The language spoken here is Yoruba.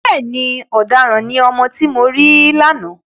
Bẹ́ẹ̀ni, ọ̀daràn ni ọmọ tí mo rí lánàá.